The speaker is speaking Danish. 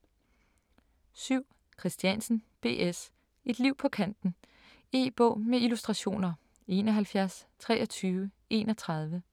7. Christiansen, B. S.: Et liv på kanten E-bog med illustrationer 712331